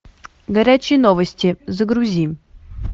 горячие новости загрузи